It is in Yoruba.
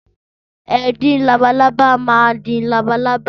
Ẹdin labalábá maa di labalábá.